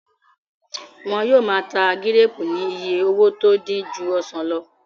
Wọ́n yóò máa ta gíréèpù ní iye owó tó dín ju ọsàn lọ